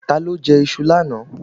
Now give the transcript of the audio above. Ta ló jẹ iṣu lánàá?